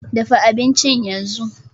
Dafa abincin yanzu!